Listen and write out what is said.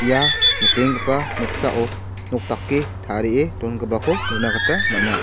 ia nikenggipa noksao nok dake tarie dongipako nikna gita man·a.